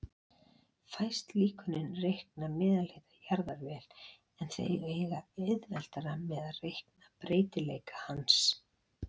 Fæst líkönin reikna meðalhita jarðar vel, en þau eiga auðveldara með að reikna breytileika hans.